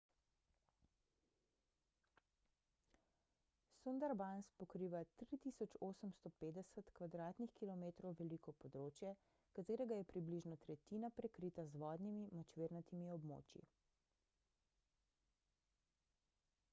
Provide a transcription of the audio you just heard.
sundarbans pokriva 3.850 km² veliko področje katerega je približno tretjina prekrita z vodnimi/močvirnatimi območji